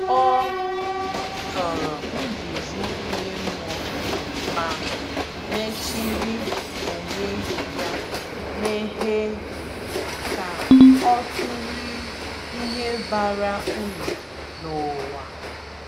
O soro nduzi ime mmụọ, ma mechiri onwe ya meghe ka o tụlee ihe bara uru n’ụwa.